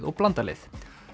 og blandað lið